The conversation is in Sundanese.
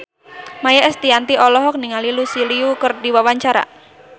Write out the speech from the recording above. Maia Estianty olohok ningali Lucy Liu keur diwawancara